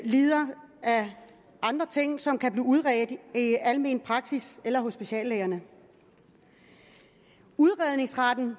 lider af andre ting og som kan blive udredt i almen praksis eller hos speciallægerne udredningsretten